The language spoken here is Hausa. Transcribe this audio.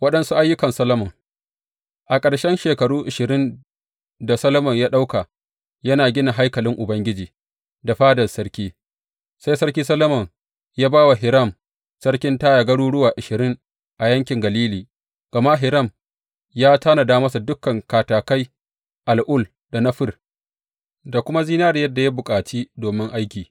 Waɗansu ayyukan Solomon A ƙarshen shekaru ashirin da Solomon ya ɗauka yana gina haikalin Ubangiji da fadan sarki, sai Sarki Solomon ya ba wa Hiram sarkin Taya garuruwa ashirin a yankin Galili, gama Hiram ya tanada masa da dukan katakai al’ul da na fir, da kuma zinariyar da ya bukaci domin aiki.